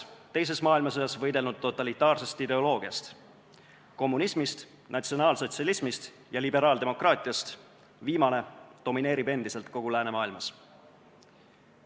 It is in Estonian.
Teises maailmasõjas võidelnud kolmest totalitaarsest ideoloogiast – kommunismist, natsionaalsotsialismist ja liberaaldemokraatiast – viimane domineerib endiselt kogu läänemaailmas.